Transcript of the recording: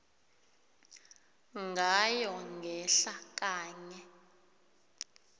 ngayo ngehla kanye